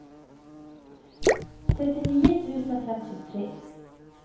trettionio tusen femtiotre